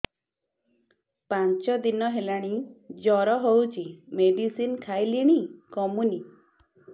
ପାଞ୍ଚ ଦିନ ହେଲାଣି ଜର ହଉଚି ମେଡିସିନ ଖାଇଲିଣି କମୁନି